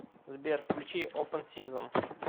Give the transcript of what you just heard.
сбер включи опен сизон